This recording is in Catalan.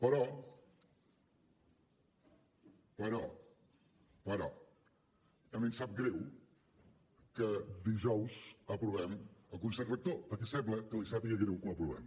però però però a mi em sap greu que dijous aprovem el consell rector perquè sembla que li sàpiga greu que ho aprovem